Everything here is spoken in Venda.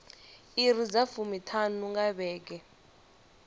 iri dza fumiṱhanu nga vhege